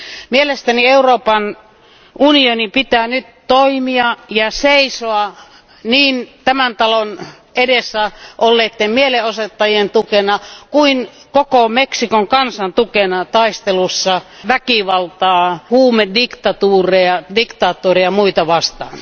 Mielestäni Euroopan unionin pitää nyt toimia ja seisoa niin tämän talon edessä olleitten mielenosoittajien tukena kuin koko Meksikon kansan tukena taistelussa väkivaltaa, huumediktatuuria, diktaattoreita ja muita vastaan.